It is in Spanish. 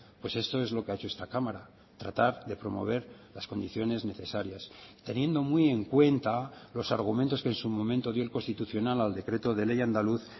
pues esto es lo que ha hecho esta cámara tratar de promover las condiciones necesarias teniendo muy en cuenta los argumentos que en su momento dio el constitucional al decreto de ley andaluz